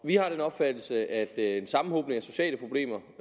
vi har den opfattelse at en sammenhobning af sociale problemer